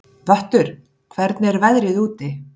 Vöttur, hvernig er veðrið úti?